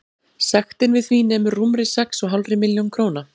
Sektin við því nemur rúmri sex og hálfri milljón króna.